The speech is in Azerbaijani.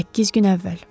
Səkkiz gün əvvəl.